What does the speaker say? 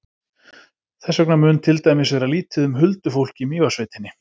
Þess vegna mun til dæmis vera lítið um huldufólk í Mývatnssveitinni.